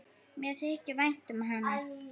Mér þykir vænt um hana.